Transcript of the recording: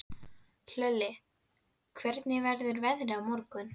Hlölli, hvernig verður veðrið á morgun?